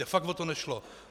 Mně fakt o to nešlo.